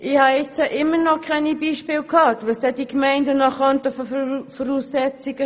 Ich habe immer noch keine Beispiele gehört, welche Voraussetzungen die Gemeinden noch schaffen könnten.